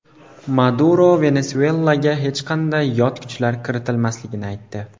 Maduro Venesuelaga hech qanday yot kuchlar kiritilmasligini aytdi.